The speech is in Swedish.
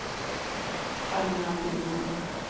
Ragnar Boman